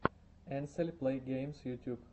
энсель плэйгеймс ютюб